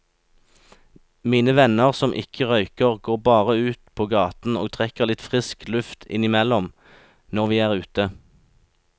Mine venner som ikke røyker, går bare ute på gaten og trekker litt frisk luft innimellom når vi er ute.